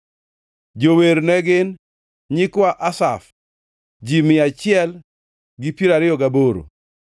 Jower ne gin: Nyikwa Asaf, ji mia achiel gi piero ariyo gaboro (128).